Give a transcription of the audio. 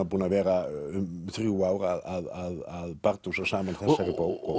búinn að vera um þrjú ár að bardúsa saman þessari bók